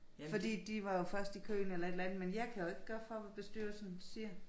Fordi de var jo først i køen eller et eller andet men jeg kan jo ikke gør for hvad bestyrelsen siger